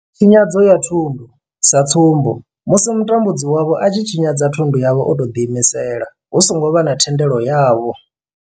Tshinyadzo ya thundu sa tsumbo, musi mutambudzi wavho a tshi tshinyadza thundu yavho o tou ḓiimisela hu songo vha na thendelo yavho.